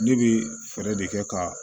Ne bɛ fɛɛrɛ de kɛ ka